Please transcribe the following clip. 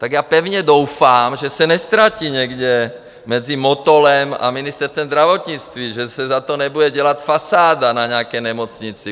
Tak já pevně doufám, že se neztratí někde mezi Motolem a Ministerstvem zdravotnictví, že se za to nebude dělat fasáda na nějaké nemocnici.